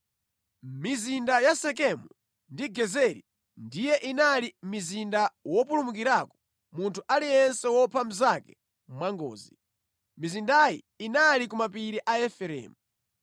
Mizinda ya Sekemu ndi Gezeri ndiye inali mizinda wopulumukirako munthu aliyense wopha mnzake mwangozi. Mizindayi inali ku mapiri a Efereimu.